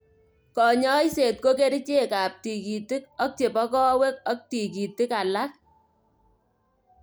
Kanyoiset ko kerichek ab tikitik ak chebo kowek ak tikitik alak.